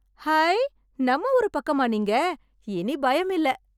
High... நம்ம ஊரு பக்கமா நீங்க... இனி பயமில்ல.